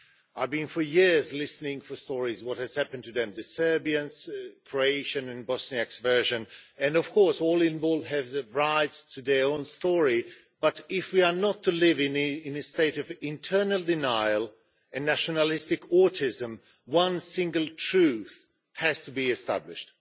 I've been for years listening to stories about what happened to them the Serbian, Croatian and Bosniak version and of course, all involved have the rights to their own story. But if we are not to live in a state of internal denial and nationalistic autism, one single truth has to be established.